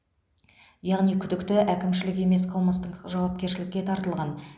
яғни күдікті әкімшілік емес қылмыстық жауапкершілікке тартылған